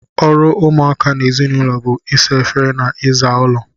Ọrụ ụmụaka n'ezinaulo bú ịsa efere na iza ụlọ.